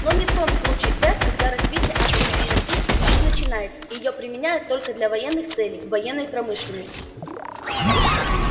но не в том случае твер когда развитие атомной энергетики лишь начинается её применяют только для военных целей в военной промышленности